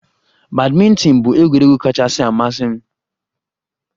Badminton bụ egwuregwu kachasị amasị m